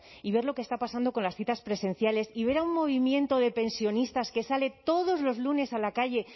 y ver lo que está pasando con las citas presenciales y ver a un movimiento de pensionistas que sale todos los lunes a la calle